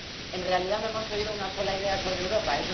En realidad, no hemos oído una sola idea sobre Europa.